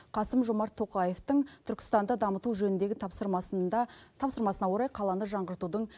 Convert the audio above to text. қасым жомарт тоқаевтың түркістанды дамыту жөніндегі тапсырмасына орай қаланы жаңғыртудың